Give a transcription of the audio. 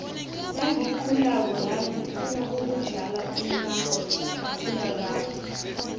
nagikhulako la ngifuna ukudlala umakhakhula rarhwe